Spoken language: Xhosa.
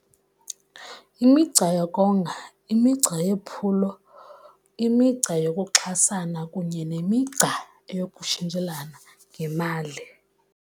Imigca yokonga, imigca yephulo, imigca yokuxhasana kunye nemigca yokutshintshelana ngemali.